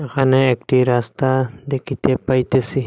এখানে একটি রাস্তা দেখিতে পাইতেসি।